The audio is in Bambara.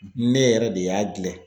Ne yɛrɛ de y'a gilɛ